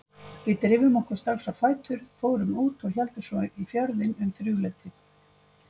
Við drifum okkur strax á fætur, fórum út og héldum svo í Fjörðinn um þrjúleytið.